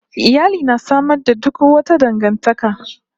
Iyali na sama da suk wata dangantaka